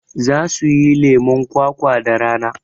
Za suyi lemon kwakwa da rana